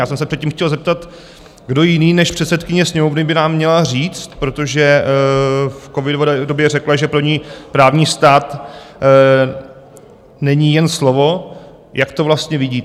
Já jsem se předtím chtěl zeptat: kdo jiný než předsedkyně Sněmovny by nám měla říct - protože v covidové době řekla, že pro ní právní stát není jen slovo - jak to vlastně vidí.